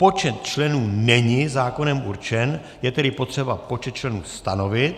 Počet členů není zákonem určen, je tedy potřeba počet členů stanovit.